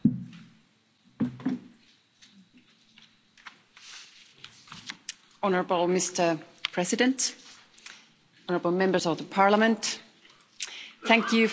Mr President, honourable Members of the Parliament, thank you for this opportunity to discuss the issue of the prevention of conflicts of interest in the EU.